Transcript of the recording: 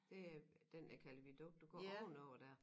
Det øh den jeg klader viadukt du går ovenover dér